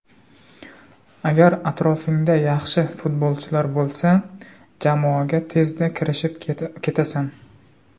Agar atrofingda yaxshi futbolchilar bo‘lsa, jamoaga tezda kirishib ketasan.